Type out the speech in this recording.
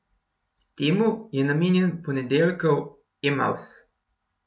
Temu je namenjen ponedeljkov Emavs!